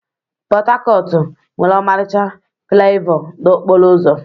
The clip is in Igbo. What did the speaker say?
Pot-Tacotu nwere ọmarịcha flaiova n'okporo ụzọ.